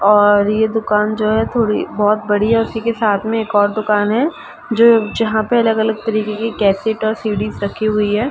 और ये दुकान जो है थोड़ी बहोत बड़ी है उसी के साथ मे एक और दुकान हैं जो जहाँ पे अलग-अलग तरीके के केसिट् और सीडीज रखी हुई है।